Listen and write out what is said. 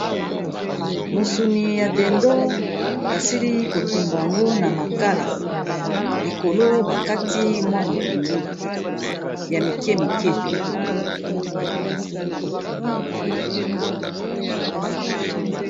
Mosuni ya dindon basili kotumba yango na makala, likolo ba kati mwa matungulu ya mike mike.